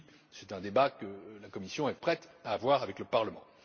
C'est un débat que la Commission est prête à avoir avec le Parlement.